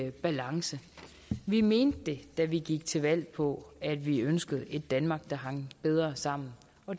i balance vi mente det da vi gik til valg på at vi ønskede et danmark der hang bedre sammen